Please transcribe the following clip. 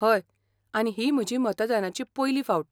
हय, आनी ही म्हजी मतदानाची पयली फावट.